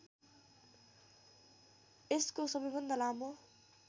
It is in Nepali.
यसको सबैभन्दा लामो